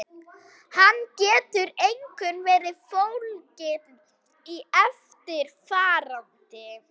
Hann getur einkum verið fólginn í eftirfarandi